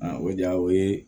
o de y'a o ye